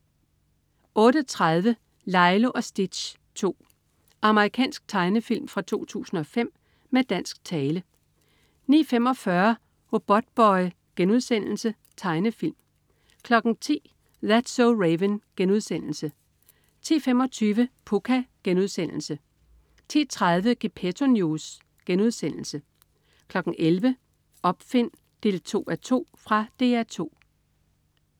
08.30 Lilo og Stitch 2. Amerikansk tegnefilm fra 2005 med dansk tale 09.45 Robotboy.* Tegnefilm 10.00 That's so Raven* 10.25 Pucca* 10.30 Gepetto News* 11.00 Opfind 2:2. Fra DR 2